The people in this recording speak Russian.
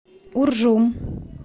уржум